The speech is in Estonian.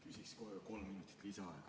Küsiks kohe kolm minutit lisaaega.